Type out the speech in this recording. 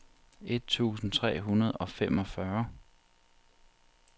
et tusind tre hundrede og femogfyrre